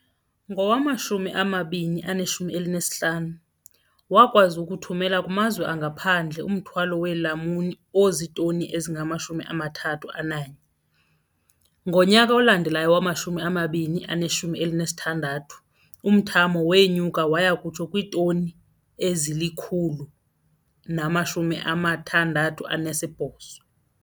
Ngowama-2015, wakwazi ukuthumela kumazwe angaphandle umthwalo weelamuni ozitoni ezingama-31. Ngonyaka olandelayo, ngowama-2016, umthamo wenyuka waya kutsho kwiitoni ezili-168.